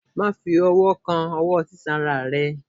ma fí ọwọ kán ọwọ sisanra rẹ!